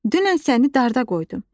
Dünən səni darda qoydum.